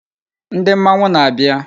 Ndi mmanwu na-abia